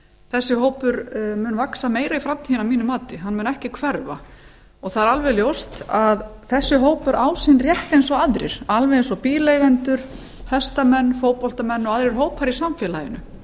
þessi hópur mun vaxa meira í framtíðinni að mínu mati hann mun ekki hverfa það er alveg ljóst að þessi hópur á sinn rétt eins aðrir alveg eins og bíleigendur hestamenn fótboltamenn og aðrir hópar í samfélaginu